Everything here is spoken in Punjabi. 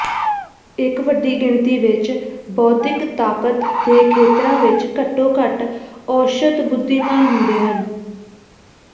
ਇੱਕ ਵੱਡੀ ਗਿਣਤੀ ਵਿੱਚ ਬੌਧਿਕ ਤਾਕਤ ਦੇ ਖੇਤਰਾਂ ਵਿੱਚ ਘੱਟੋ ਘੱਟ ਔਸਤ ਬੁੱਧੀਮਾਨ ਹੁੰਦੇ ਹਨ